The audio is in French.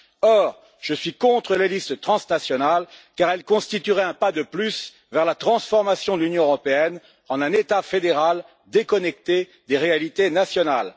Or, je suis contre les listes transnationales car elles constitueraient un pas de plus vers la transformation de l'Union européenne en un État fédéral déconnecté des réalités nationales.